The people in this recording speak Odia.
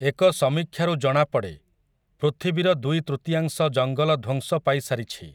ଏକ ସମୀକ୍ଷାରୁ ଜଣାପଡ଼େ, ପୃଥିବୀର ଦୁଇ ତୃତୀୟାଂଶ ଜଙ୍ଗଲ ଧ୍ୱଂସ ପାଇ ସାରିଛି ।